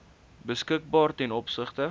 beskikbaar ten opsigte